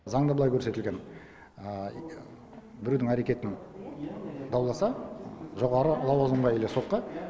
заңда былай көрсетілген біреудің әрекетін дауласа жоғары лауазымға или сотқа